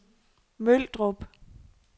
Møldrup